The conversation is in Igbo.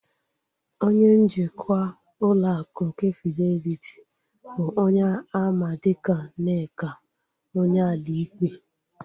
Onye njikwa ụlọ akụ nke Fideliti bụ onye a ma dịka Nneka Onyeali-Ikpe